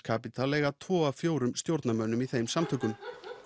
Capital eiga tvo af fjórum stjórnarmönnum í þeim samtökum